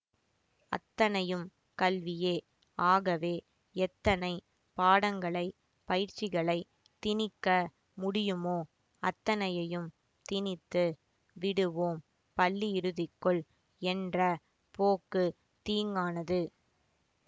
அத்தனையும் கல்வியே ஆகவே எத்தனைப் பாடங்களை பயிற்சிகளை திணிக்க முடியுமோ அத்தனையையும் திணித்து விடுவோம் பள்ளியிறுதிக்குள் என்ற போக்கு தீங்கானது